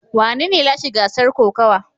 Wanene ya lashe gasar kokawa?